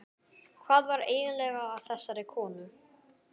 Hvað var eiginlega að þessari konu?